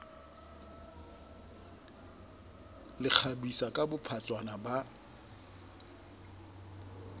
le kgabisa ka bophatshwana ba